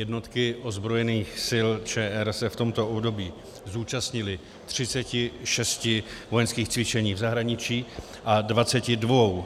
Jednotky ozbrojených sil ČR se v tomto období zúčastnily 36 vojenských cvičení v zahraničí a 22